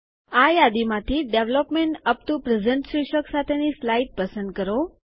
આ યાદી માંથી ડેવલપમેન્ટ યુપી ટીઓ પ્રેઝન્ટ શીર્ષક સાથેની સ્લાઇડ પસંદ કરો